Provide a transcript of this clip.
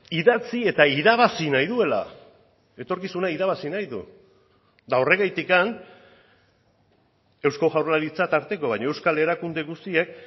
idatzi eta irabazi nahi duela etorkizuna irabazi nahi du eta horregatik eusko jaurlaritza tarteko baina euskal erakunde guztiek